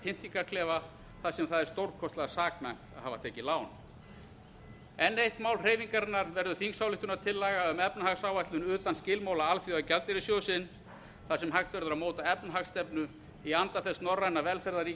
kafkaískan pyndingarklefa þar sem það er stórkostlega saknæmt að hafa tekið lán enn eitt mál hreyfingarinnar verður þingsályktunartillaga um efnahagsáætlun utan skilmála alþjóðagjaldeyrissjóðsins þar sem hægt verður að móta efnahagsstefnu í anda þess norræna